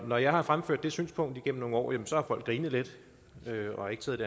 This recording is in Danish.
når jeg har fremført det synspunkt igennem årene så har folk grinet lidt og ikke taget